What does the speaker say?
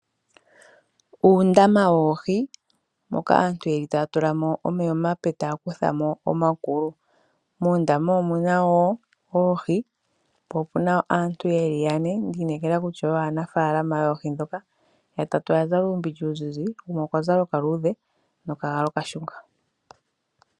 Uundama woohi mpoka aantu yeli taya tulamo omeya omape taya kuthamo omakulu. Muundama omuna woo oohi po opena woo aantu yeli yane mboka ndiineka kutya oyo aanafaalama yoohi dhoka. Yatatu oya zala uumbindja uuzizi gumwe okwa zala okaluudhe nokagala okashunga.